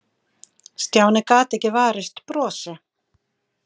Stjáni gat ekki varist brosi.